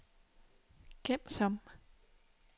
gem som